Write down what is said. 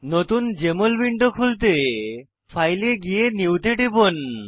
নতুন JML window খুলতে file এ গিয়ে নিউ তে টিপুন